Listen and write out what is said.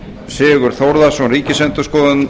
sigurð þórðarson ríkisendurskoðanda